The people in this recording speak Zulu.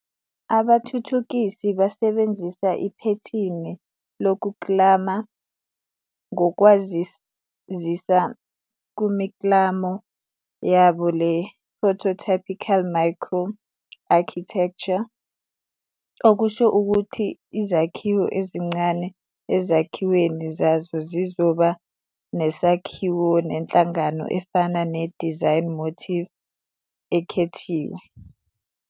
Abathuthukisi basebenzisa iphethini lokuklama ngokwazisa kumiklamo yabo le-prototypical micro-architecture, okusho ukuthi izakhiwo ezincane ezakhiweni zazo zizoba nesakhiwo nenhlangano efana ne-design motif ekhethiwe.